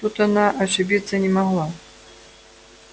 тут она ошибиться не могла